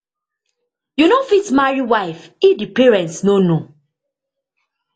you no fit marry wife if di parent no know